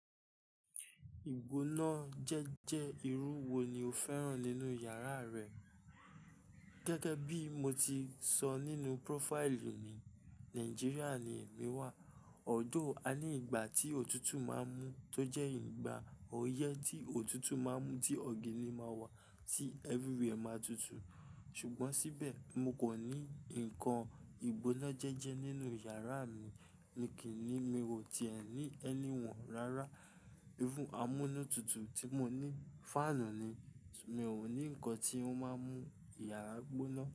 Ìgbónájẹjẹ́ irú wo ni o fẹ́ràn nínú yàrá rẹ? Gẹ́gẹ́ bí mo ti sọ nínú prófáìlì mi, Nàìjíríà ni èmi wà. Although, a ní ìgbà tí ọ̀tútù máa ń mú tó jẹ́ ìgbà oyẹ́ tí ọ̀tútù máa ń mú tí ọ̀gìn ni máa wà tí everywhere máa tutù. Ṣùgbọ́n síbẹ̀, mo kò ní nǹkan ìgbónájẹjẹ́ nínú yàrá mi ni kìní, mi ò tí ẹ̀ ní any one rárá. Irú amúnútutù tí mo ní, fáànù ni. Mi ò ní nǹkan tí ó máa ń mú ìyàrá gbóná.